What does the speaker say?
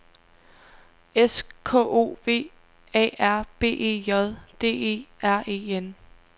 S K O V A R B E J D E R E N